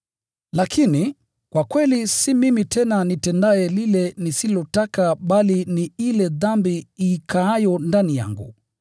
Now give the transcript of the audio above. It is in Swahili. Lakini, kwa kweli si mimi tena nitendaye lile nisilotaka bali ni ile dhambi ikaayo ndani yangu.